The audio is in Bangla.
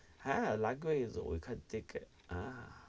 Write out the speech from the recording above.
হ্যা লাগবে ওই খান থেকে ,